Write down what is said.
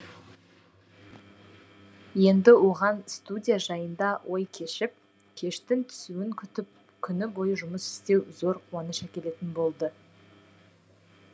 енді оған студия жайында ой кешіп кештің түсуін күтіп күні бойы жұмыс істеу зор қуаныш әкелетін болды